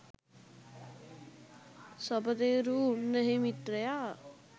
සපතේරු උන්නැහේ මිත්‍රයා